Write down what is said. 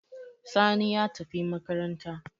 Sani ya tafi makaranta